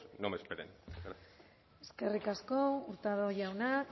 no me esperen gracias eskerrik asko hurtado jauna